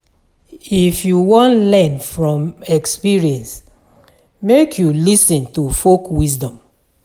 If you wan learn from experience, make you lis ten to folk wisdom.